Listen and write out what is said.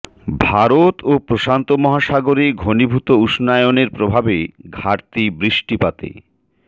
ভারত ও প্রশান্ত মহাসাগরে ঘনীভূত উষ্ণায়নের প্রভাবে ঘাটতি বৃষ্টিপাতে